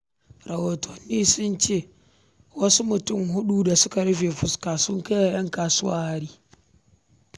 Rahotanni sun ce, wasu mutane huɗu da suka rufe fuska sun kai wa 'yan kasuwar hari,